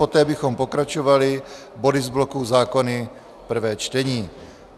Poté bychom pokračovali body z bloku zákony prvé čtení.